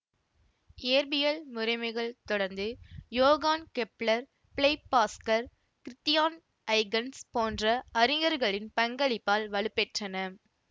இயற்பியல் முறைமைகள் தொடர்ந்து Johann Kepler Blaise Pascal Christiaan Huygens போன்ற அறிஞர்களின் பங்களிப்பால் வலுப்பெற்றன